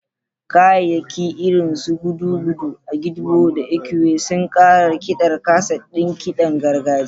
Kayayyaki irin su gudugudu, agidigbo, da ekwe suna ƙara rikiɗar kaset ɗin kiɗan gargajiya.